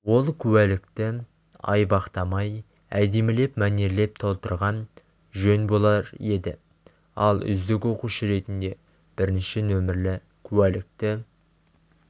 ол куәлікті айбақтамай әдемілеп мәнерлеп толтырған жөн болар еді ал үздік оқушы ретінде бірінші нөмірлі куәлікті